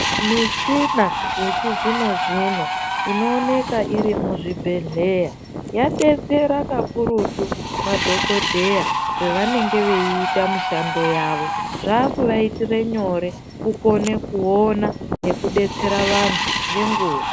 Muchina yechizvinozvino inooneka iri muzvibhehleya yadetsera kakurutu madhokodheya pavanenge veita mushando wavo zvava kuvaitira nyore kukona kuona nekudetsera vantu nenguva.